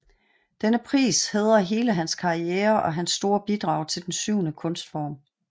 Denne pris hædrer hele hans karriere og hans store bidrag til den syvende kunstform